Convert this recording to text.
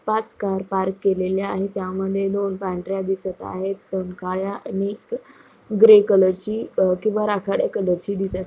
पाच car park केलेल्या आहे त्यामद्धे दोन पांढऱ्या दिसत आहे दोन काळ्या आणि एक ग्रे कलरची अ किंवा राखाड्या कलरची दिसत--